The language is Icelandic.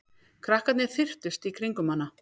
Krakkarnir þyrptust í kringum hana.